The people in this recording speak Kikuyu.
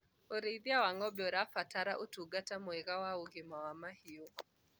ũrĩithi wa ng'ombe ũrabatara ũtungata mwega wa ũgima wa mahiũ